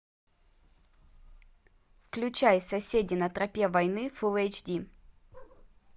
включай соседи на тропе войны фулл эйч ди